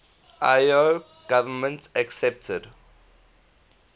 lao government accepted